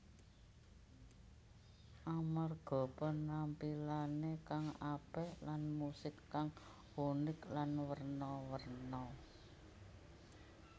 Amarga penampilané kang apik lan musik kang unik lan werna werna